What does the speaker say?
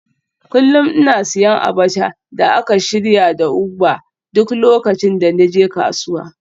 Kullum ina siyan abacha da aka shirya da ugba duk lokacin da na je kasuwa